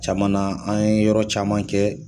Caman na an ye yɔrɔ caman kɛ